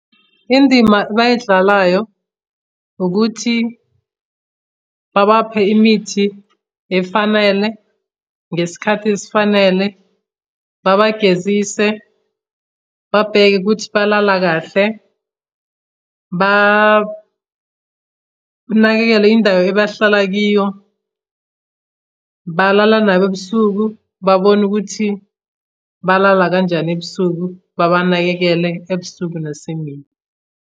Indima abayidlalayo ukuthi babaphe imithi efanele, ngesikhathi esifanele, babagezise, babheke ukuthi balala kahle, banakekele indawo ebahlala kiyo, balala nabo ebusuku. Babone ukuthi balala kanjani ebusuku, babanakekele ebusuku nasemini.